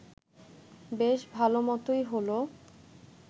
বেশ ভালমতই হল